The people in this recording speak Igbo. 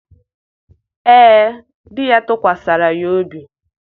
ee, di ya tụkwasịrị ya obi.